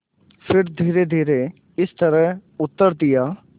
फिर धीरेधीरे इस तरह उत्तर दिया